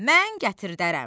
Mən gətirdərəm.